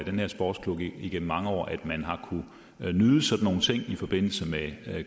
her sportsklub igennem mange år at man har kunnet nyde sådan nogle ting i forbindelse med